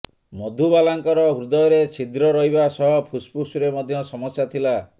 ମଧୁବାଲାଙ୍କର ହୃଦୟରେ ଛିଦ୍ର ରହିବା ସହ ଫୁସଫୁସରେ ମଧ୍ୟ ସମସ୍ୟା ଥିଲା